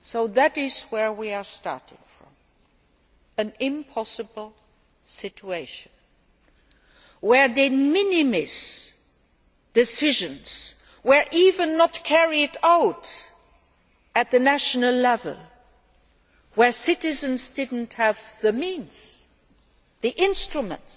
That is where we are starting from an impossible situation. Where de minimis decisions were not even carried out at national level, where citizens did not have the means or the instruments